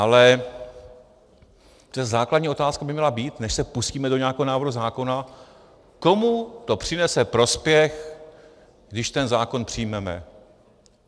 Ale přece základní otázka by měla být, než se pustíme do nějakého návrhu zákona, komu to přinese prospěch, když ten zákon přijmeme.